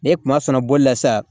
Ne kuma fɛ bolila sa